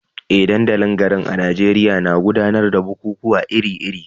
Eh, dandalin garin a Najeriya na gudanar da bukukuwa iri-iri